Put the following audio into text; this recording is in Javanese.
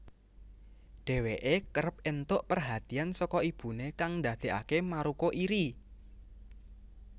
Dheweke kerep entuk perhatiyan saka ibune kang ndadekake Maruko iri